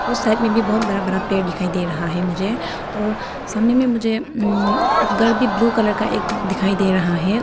और साइड में भी बहुत बड़ा बड़ा पेड़ दिखाई दे रहा हैं मुझे और सामने मे मुझे उम घर भी ब्लू कलर का एक दिखाई दे रहा है।